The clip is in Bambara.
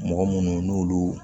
Mɔgɔ munnu n'olu